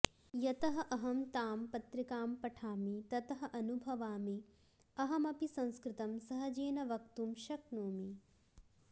यतः अहं ताम् पत्रिकां पठामि ततः अनुभवामि अहमपि संस्कृतं सहजेन वदितुं शक्नोमि